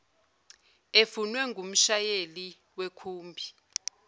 efunwe ngumshayeli wekhumbi